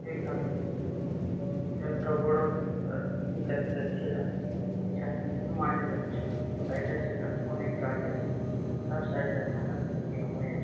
এখানে একটা বড়ো লোক আর তিন চারটে ছেলা এখানে মাছ ধরছে সাইড -এ সাইড -এ অনেক গাছ আছে তার সাইড -এ ধানের খেতি হয়েছ--